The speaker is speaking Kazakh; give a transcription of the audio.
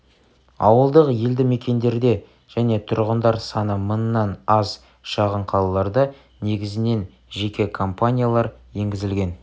ауылдық елді мекендерде және тұрғындар саны мыңнан аз шағын қалаларда негізінен жеке компаниялар енгізілген